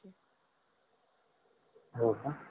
होका